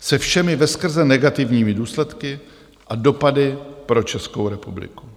se všemi veskrze negativními důsledky a dopady pro Českou republiku.